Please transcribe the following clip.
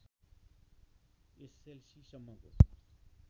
SLC सम्मको